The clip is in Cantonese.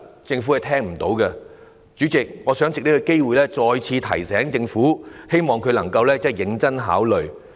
主席，我想藉此機會再次提醒政府，希望政府能夠認真考慮。